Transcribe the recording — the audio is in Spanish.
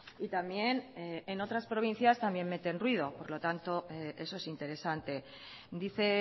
y también en otras provincias también meten ruido por lo tanto eso es interesante dice